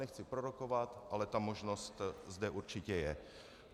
Nechci prorokovat, ale ta možnost zde určitě je.